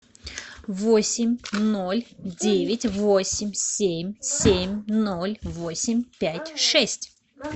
восемь ноль девять восемь семь семь ноль восемь пять шесть